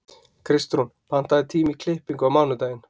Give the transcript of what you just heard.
Kristrún, pantaðu tíma í klippingu á mánudaginn.